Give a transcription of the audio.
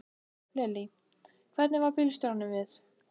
Lillý: Hvernig varð bílstjóranum við?